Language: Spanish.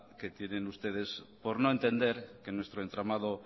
que tienen ustedes por no entender que nuestro entramado